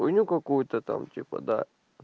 хуйню какую-то там типа да